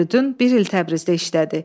Firidun bir il Təbrizdə işlədi.